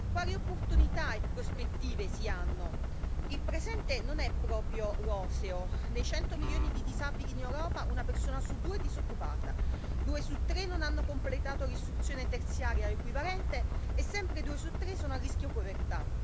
Quali opportunità e prospettive si hanno? Il presente non è proprio roseo dei 100 milioni di disabili in Europa, una persona su due è disoccupata, due su tre non hanno completato l'istruzione terziaria o equivalente e sempre due su tre sono a rischio povertà.